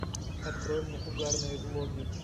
открой мне угарные влоги